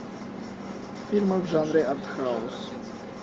фильмы в жанре артхаус